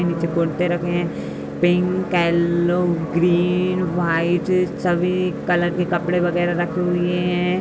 नीचे कुर्ते रखे हैं। पिंक ऐलो ग्रीन व्हाइट सभी कलर के कपड़े वगेरा रखे हुए हैं।